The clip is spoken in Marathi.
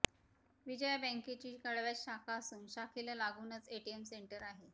विजया बँकेची कळव्यात शाखा असून शाखेला लागूनच एटीएम सेंटर आहे